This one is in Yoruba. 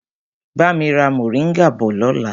Bami ra moringa bọ̀ lọ́la!